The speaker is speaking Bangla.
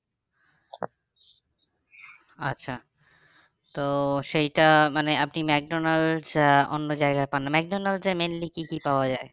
আচ্ছা তো সেইটা মানে আপনি মেকডনাল্ড্স আহ অন্য জায়গায় পাননা মেকডনাল্ড্স এ mainly কি কি পাওয়া যায়?